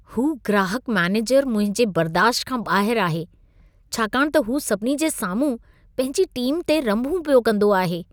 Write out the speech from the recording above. हू ग्राहकु मैनेजरु मुंहिंजे बर्दाश्त खां ॿाहिरु आहे छाकाणि त हू सभिनी जे साम्हूं पंहिंजी टीम ते रम्भूं पियो कंदो आहे।